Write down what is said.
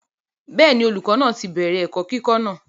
bẹ́ẹ̀ni, olùkọ́ náà ti bẹ̀rẹ̀ ẹ̀kọ́ kíkọ́ náà